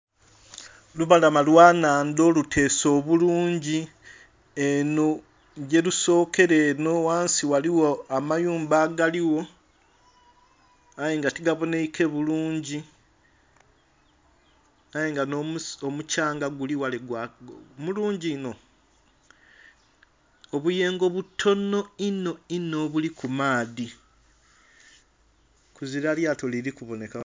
Lubalama lwa nhandha oluteese obulungi enho gye rusokera enho ghansi ghaligho amayumba agaligho aye nga tigabonhaike bulungi aye nga nho mukyanga gulighale mulangi inho, obuyengo butono inho inho obuli ku maadhi kuzila lyato lili kubonheka.